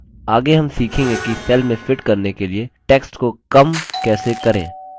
आगे हम सीखेंगे कि cell में fit करने के लिए text को कम shrink कैसे करें